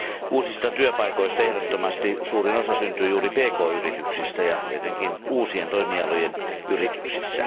Uusista työpaikoista ehdottomasti suurin osa syntyy juuri pk yrityksissä ja etenkin uusien toimialojen yrityksissä.